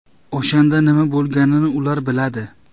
O‘shanda nima bo‘lganini ular biladi.